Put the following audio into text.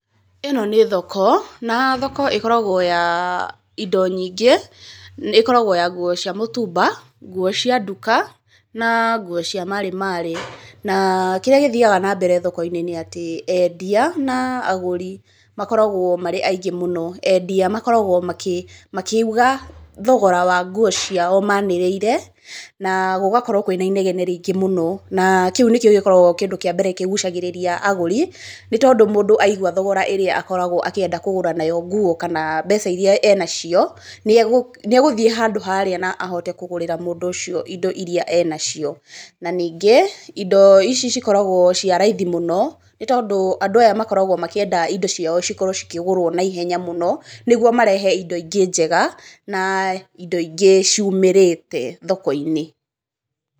Ĩno nĩ thoko na thoko ĩkoragwo ĩya indo nyingĩ, ĩkoragwo ya nguo cia mũtumba, nguo cia nduka na nguo cia marĩmarĩ na kĩrĩa gĩthiaga na mbere thoko -inĩ nĩ atĩ endia na agũri makoragwo marĩ aingĩ mũno. Endia makoragwo makiuga thogora wa nguo ciao manĩrĩire na gũgakorwo kwĩna inegene rĩingĩ mũno na kĩu nĩkĩo gĩkoragwo kĩndũ kĩa mbere kĩgucagĩrĩria agũri nĩ tondũ mũndũ aigua thogora ĩrĩa akoragwo akĩenda kũgũra nguo kana mbeca irĩa enacio nĩegũtgiĩ handũ harĩa na ahote kũgũrĩra mũndũ ũcio indo irĩa enacio na ningĩ indo ici cikoragwo cia raithi mũno nĩ tondũ andũ aya makoragwo makĩenda indo ciao ciakorwo ikĩgũrwo na ĩhenya mũno nĩguo marehe indo ingĩ njega na indo ingĩ ciumĩrĩte thoko-inĩ.